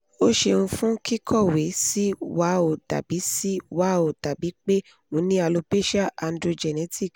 o ṣeun fun kikọwe si wa o dabi si wa o dabi pe o ni alopecia androgenetic